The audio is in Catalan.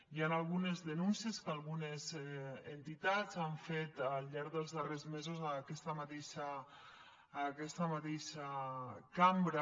hi han algunes denúncies que algunes entitats han fet al llarg dels darrers mesos en aquesta mateixa cambra